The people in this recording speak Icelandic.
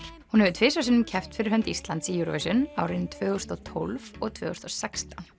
hún hefur tvisvar sinnum keppt fyrir hönd Íslands í Eurovision árin tvö þúsund og tólf og tvö þúsund og sextán